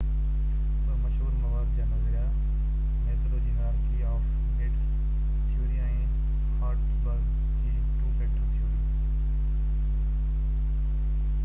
ٻہ مشهور مواد جا نظريا ميسلو جي hierarchy of needs theory ۽ Herzberg جي ٽو فيڪٽر ٿيوري